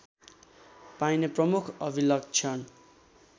पाइने प्रमुख अभिलक्षण